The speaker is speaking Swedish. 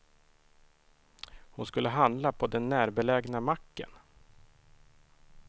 Hon skulle handla på den närbelägna macken.